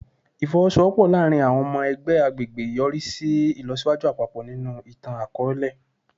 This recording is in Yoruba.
Ifowosowopo laarin awọn ọmọ ẹgbẹ agbegbe yori si ilọsiwaju apapọ ninu itan-akọọlẹ